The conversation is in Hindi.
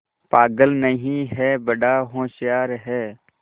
पागल नहीं हैं बड़ा होशियार है